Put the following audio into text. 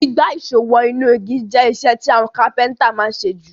Gbígbá ìsó wo inú igi je isẹ́ ti àwon Kápẹ́ńtà ma n sé ju